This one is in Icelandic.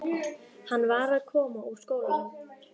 Hann var að koma úr skólanum.